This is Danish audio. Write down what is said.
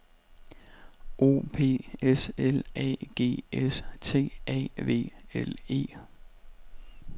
O P S L A G S T A V L E